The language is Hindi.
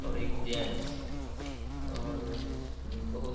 और एक जेंट्स और बहुत --